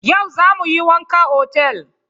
Yau za mu yi wanka otal.